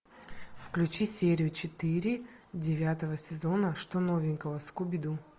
включи серию четыре девятого сезона что новенького скуби ду